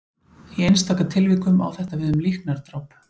Í einstaka tilvikum á þetta við um líknardráp.